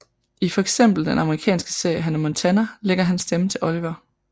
I fx den amerikanske serie Hannah Montana lægger han stemme til Oliver